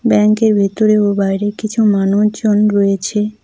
ব্যাংকের ভিতরে ও বাইরে কিছু মানুজন রয়েছে।